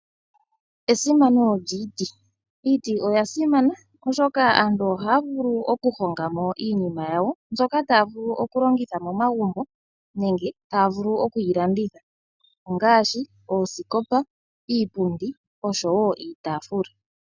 Esimano lyiiti. Iiti oyasimana oshoka aantu ohaya vulu okuhongamo iinima yawo mbyoka taya vulu oku longitha momagumbo nenge taya vulu oku yi landitha ongaashi oosikopa, iipundi oshowo iitaafula.